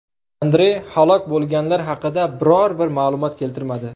Andre halok bo‘lganlar haqida biror bir ma’lumot keltirmadi.